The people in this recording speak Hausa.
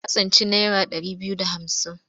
Ta tsinci naira ɗari biyu da hamsin.